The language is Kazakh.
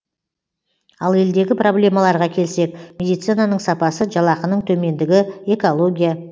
ал елдегі проблемаларға келсек медицинаның сапасы жалақының төмендігі экология